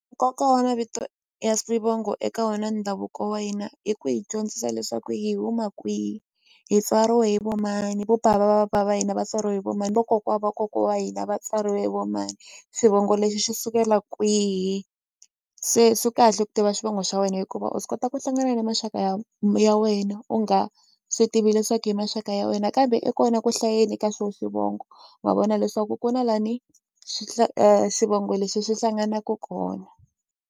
Nkoka wa mavito ya swivongo eka wona ndhavuko wa hina i ku hi dyondzisa leswaku hi huma kwihi hi tswariwe hi vo mani vo bava va va bava va hina va tswariwe hi vo mani vokokwa va kokwa wa hina va tswariwe vo mani xivongo lexi xi sukela kwihi se swi kahle ku tiva xivongo xa wena hikuva u swi kota ku hlangana ni maxaka ya ya wena u nga swi tivi leswaku i maxaka ya wena kambe i kona ku hlayeni ka swo xivongo wa vona leswaku ku na la ni xivongo lexi xi hlanganaku kona.